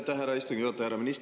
Aitäh, härra istungi juhataja!